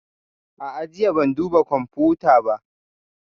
A'a, jiya ban duba kwamfuta ba